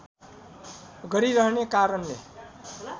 गरिरहने कारणले